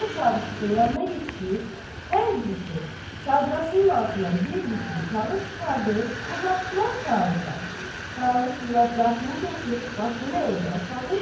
Bunlar Çavuşun yanına yetişib, hər birisi çadrasının altından bir bükülü kağız çıxarıb uzatdılar Çavuşa. Çavuş münacatını kəsib başını əydi aşağı